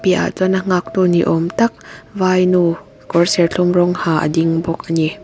piahah chuan a nghaktu ni awm tak vainu kawr serthlum rawng ha a ding bawk a ni.